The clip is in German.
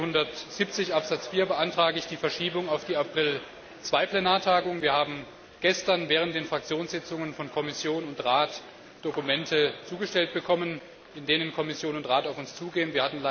Nach Artikel 170 Absatz 4 beantrage ich die Verschiebung auf die April II Plenartagung. Wir haben gestern während der Fraktionssitzungen von Kommission und Rat Dokumente zugestellt bekommen, in denen Kommission und Rat auf uns zugehen.